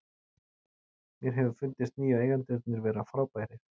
Mér hefur fundist nýju eigendurnir vera frábærir.